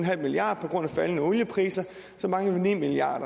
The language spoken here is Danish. milliard på grund af faldende oliepriser mangler vi ni milliard